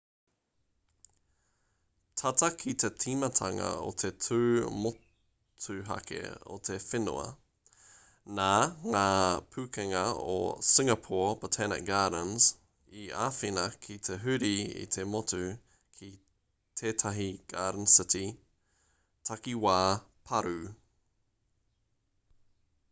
tata ki te tīmatanga o te tū motuhake o te whenua nā ngā pukenga o singapore botanic gardens i āwhina ki te huri i te motu ki tetahi garden city takiwā pārū